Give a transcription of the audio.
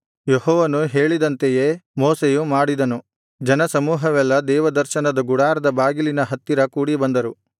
ಯೆಹೋವನು ಹೇಳಿದಂತೆಯೇ ಮೋಶೆಯು ಮಾಡಿದನು ಜನಸಮೂಹವೆಲ್ಲಾ ದೇವದರ್ಶನದ ಗುಡಾರದ ಬಾಗಿಲಿನ ಹತ್ತಿರ ಕೂಡಿಬಂದರು